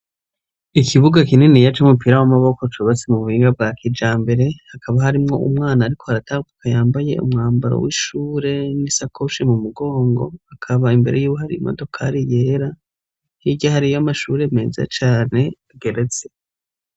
Ikibuga kininiya c'umupira w'amaboko, cubatse mu buhinga bwa kijambere, hakaba harimwo umwana ariko aratambuka yambaye umwambaro w'ishure n'isakoshi mu mugongo, akaba imbere yiwe hari imodokari yera, hirya hariyo amashure meza cane ageretse.